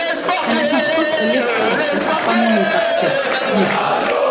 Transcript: Henni fannst gott að létta á sér og fann að hún gat treyst Nikka.